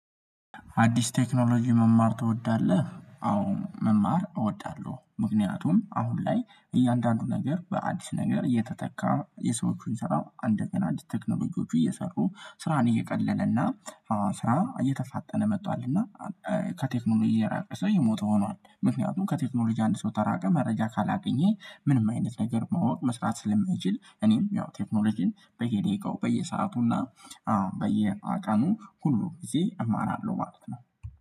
አዲስ ቴክኖሎጂ መማር ትወዳለህ? አሁን መማር እወዳለሁ ምክንያቱም አሁን ላይ እያንዳንዱ ነገር በአዲስ ነገር እየተተካ የሰዎቹን ስራው አንደገና አዲስ ቴክኖሎጂዎቹ እየሰሩ ስራን እየቀለለና ስራ እየተፋጠነ መጥቷልና ከቴክኖሎጂ የራቀ ሰው የሞተ ሆኗል ምክንያቱም ከቴክኖሎጂ አንድ ሰው ከራቀ መረጃ ካላገኘ ምንም አይነት ነገር ማወቅ መስራት ስለማይችል እኔም ያው ቴክኖሎጂን በየደቂቃው በየሰአቱና በየቀኑ ሁሉ ጊዜ እማራለሁ ማለት ነው